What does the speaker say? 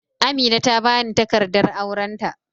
Amina ta bani takardar aurenta.